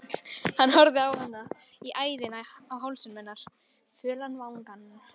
Hann horfði á hana, á æðina á hálsinum, fölan vangann